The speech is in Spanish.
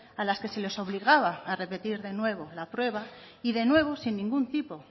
a las que se les obligaba de nuevo a repetir la prueba y de nuevo sin ningún tipo